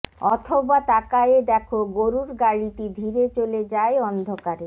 অথবা তাকায়ে দেখো গরুর গাড়িটি ধীরে চলে যায় অন্ধকারে